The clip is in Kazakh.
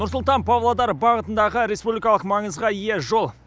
нұр сұлтан павлодар бағытындағы республикалық маңызға ие жол